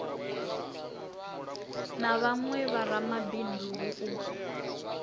na vhawe vharamabindu hu u